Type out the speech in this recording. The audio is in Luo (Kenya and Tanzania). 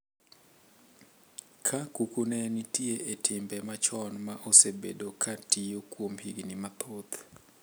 Ka kukune nitie e timbe machon ma osebedo ka tiyo kuom higni mathoth,